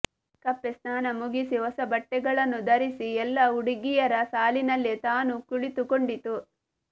ಕಪ್ಪೆ ಸ್ನಾನ ಮುಗಿಸಿ ಹೊಸ ಬಟ್ಟೆಗಳನ್ನು ಧರಿಸಿ ಎಲ್ಲ ಹುಡುಗಿಯರ ಸಾಲಿನಲ್ಲಿ ತಾನೂ ಕುಳಿತುಕೊಂಡಿತು